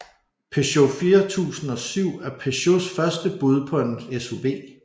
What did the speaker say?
Peugeot 4007 er Peugeots første bud på en SUV